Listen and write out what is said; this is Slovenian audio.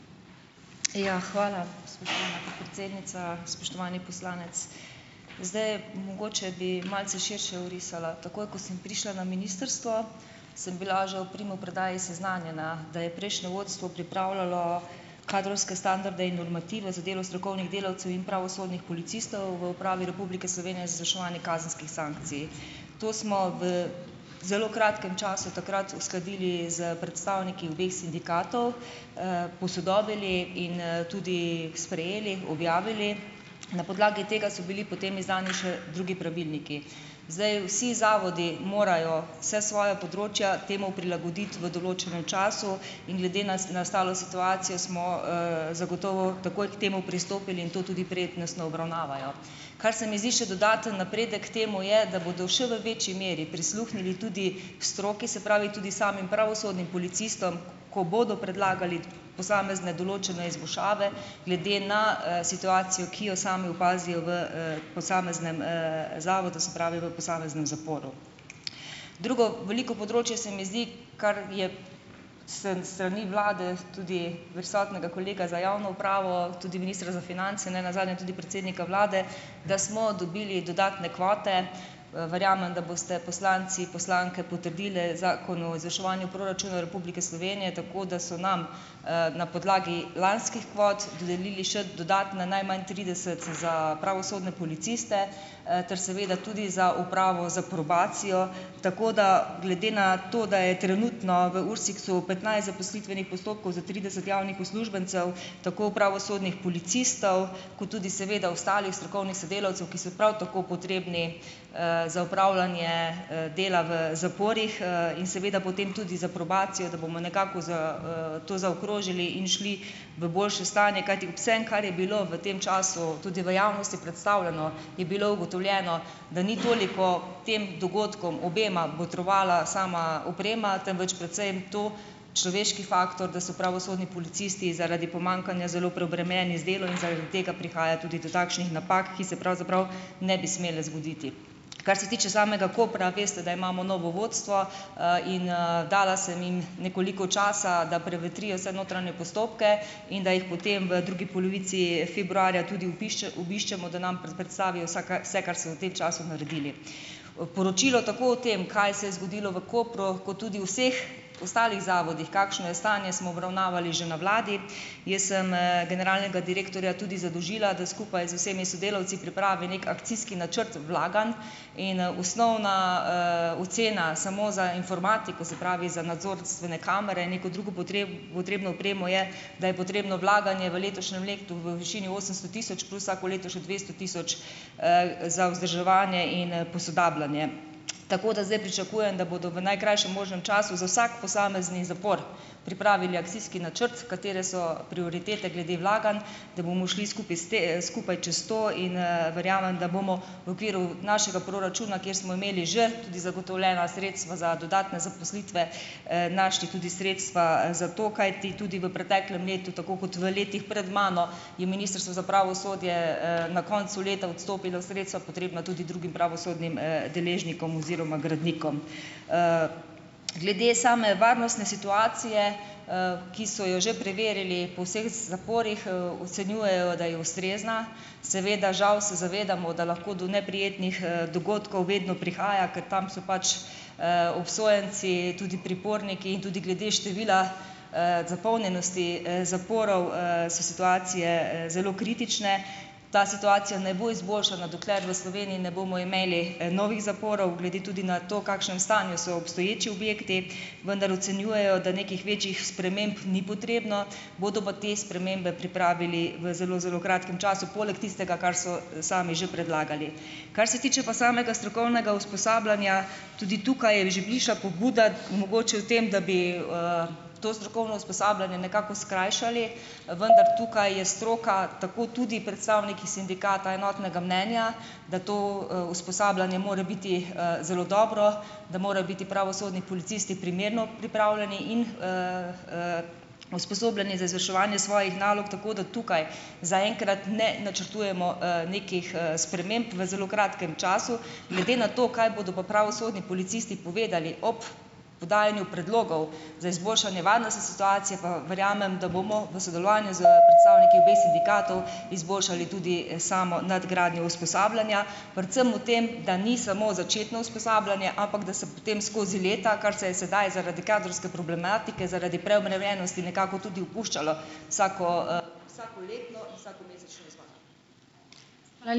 Ja, hvala, spoštovana podpredsednica, spoštovani poslanec. Zdaj, mogoče bi malce širše orisala. Takoj, ko sem prišla na ministrstvo, sem bila že ob primopredaji seznanjena, da je prejšnje vodstvo pripravljalo kadrovske standarde in normative za delo strokovnih delavcev in pravosodnih policistov v Upravi Republike Slovenije izvrševanje kazenskih sankcij. To smo v zelo kratkem času takrat uskladili s predstavniki obeh sindikatov, posodobili in, tudi sprejeli, objavili. Na podlagi tega so bili potem izdani še drugi pravilniki. Zdaj, vsi zavodi morajo vsa svoja področja temu prilagoditi v določenem času in glede nas nastalo situacijo smo, zagotovo takoj k temu pristopili in to tudi prednostno obravnavajo. Kar se mi zdi še dodaten napredek k temu je, da bodo še v večji meri prisluhnili tudi stroki, se pravi tudi samim pravosodnim policistom, ko bodo predlagali posamezne določene izboljšave glede na, situacijo, ki jo sami opazijo v, posameznem, zavodu, se pravi v posameznem zaporu. Drugo veliko področje se mi zdi, kar je sem sani vlade, tudi prisotnega kolega za javno upravo, tudi ministra za finance, ne nazadnje tudi predsednika vlade, da smo dobili dodatne kvote. Verjamem, da boste poslanci, poslanke potrdili Zakon o izvrševanju proračuna Republike Slovenije, tako da so nam, na podlagi lanskih kvot dodelili še dodatna, najmanj trideset, za pravosodne policiste, ter seveda tudi za upravo, za probacijo, tako da, glede na to, da je trenutno v URSIKS-u petnajst zaposlitvenih postopkov za trideset javnih uslužbencev, tako pravosodnih policistov ko tudi seveda ostalih strokovnih sodelavcev, ki so prav tako potrebni, za opravljanje, dela v zaporih, in seveda potem tudi za probacijo, da bomo nekako to zaokrožili in šli v boljše stanje, kajti, vsem, kar je bilo v tem času, tudi v javnosti, predstavljeno, je bilo ugotovljeno, da ni toliko tem dogodkom, obema, botrovala sama oprema, temveč predvsem to, človeški faktor, da so pravosodni policisti zaradi pomanjkanja zelo preobremenjeni z delom in zaradi tega prihaja tudi do takšnih napak, ki se pravzaprav ne bi smele zgoditi. Kar se tiče samega Kopra, veste, da imamo novo vodstvo, in, dala sem jim nekoliko časa, da prevetrijo vse notranje postopke in da jih potem v drugi polovici februarja tudi obiščemo, da nam predstavijo vsaka vse, kar so v tem času naredili. Poročilo tako o tem, kaj se je zgodilo v Kopru kot tudi vseh ostalih zavodih, kakšno je stanje, smo obravnavali že na vladi. Jaz sem, generalnega direktorja tudi zadolžila, da skupaj z vsemi sodelavci pripravi neki akcijski načrt vlaganj in, osnovna, ocena samo za informatiko, se pravi, za nadzorstvene kamere in neko drugo potrebno opremo je, da je potrebno vlaganje v letošnjem letu, v višini osemsto tisoč, plus vsako leto še dvesto tisoč, za vzdrževanje in posodabljanje. Tako da zdaj pričakujem, da bodo v najkrajšem možnem času za vsak posamezni zapor pripravili akcijski načrt, katere so prioritete glede vlaganj, da bomo šli skupaj s skupaj čez to in, verjamem, da bomo v okviru našega proračuna, kjer smo imeli že tudi zagotovljena sredstva za dodatne zaposlitve, našli tudi sredstva za to, kajti tudi v preteklem letu, tako kot v letih pred mano, je Ministrstvo za pravosodje, na koncu leta odstopilo sredstva, potrebna tudi drugim pravosodnim, deležnikom oziroma gradnikom. Glede same varnostne situacije, ki so jo že preverili po vseh zaporih, ocenjujejo, da je ustrezna. Seveda žal se zavedamo, da lahko do neprijetnih, dogodkov vedno prihaja, ker tam so pač, obsojenci, tudi priporniki in tudi glede števila zapolnjenosti, zaporov, so situacije zelo kritične. Ta situacija ne bo izboljšana, dokler v Sloveniji ne bomo imeli novih zaporov, glede tudi na to, kakšnem stanju so obstoječi objekti, vendar ocenjujejo, da nekih večjih sprememb ni potrebno, bodo pa te spremembe pripravili v zelo, zelo kratkem času, poleg tistega, kar so sami že predlagali. Kar se tiče pa samega strokovnega usposabljanja, tudi tukaj je že višja pobuda mogoče v tem, da bi, to strokovno usposabljanje nekako skrajšali, vendar tukaj je stroka, tako tudi predstavniki sindikata, enotnega mnenja, da to, usposabljanje more biti, zelo dobro, da morajo biti pravosodni policisti primerno pripravljeni in usposobljeni za izvrševanje svojih nalog, tako da tukaj za enkrat ne načrtujemo, nekih, sprememb v zelo kratkem času. Glede na to, kaj bodo pa pravosodni policisti povedali ob podajanju predlogov za izboljšanje varnostne situacije, pa verjamem, da bomo v sodelovanju s predstavniki obeh sindikatov, izboljšali tudi samo nadgradnjo usposabljanja, predvsem v tem, da ni samo začetno usposabljanje, ampak da se potem skozi leta, kar se je sedaj zaradi kadrovske problematike, zaradi preobremenjenosti, nekako tudi opuščalo ...